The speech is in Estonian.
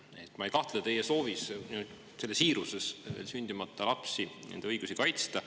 Ma ei kahtle teie siiras soovis sündimata lapsi ja nende õigusi kaitsta.